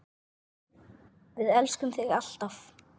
Við elskum þig alltaf.